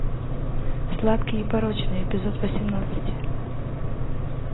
сладкие и порочные эпизод восемнадцать